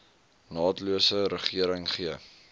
naatlose regering gee